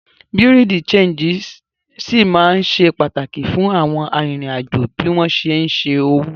Bùréàú de ṣéńjì ṣì ma ṣe pàtàkì fún àwọn arìnrìn-àjò bí wọ́n ṣé ń ṣẹ́ owó